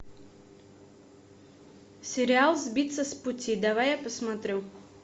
сериал сбиться с пути давай я посмотрю